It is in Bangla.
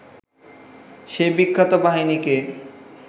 সেই বিখ্যাত বাহিনীকে